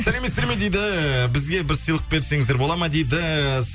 сәлеметсіздер ме дейді бізге бір сыйлық берсеңіздер бола ма дейді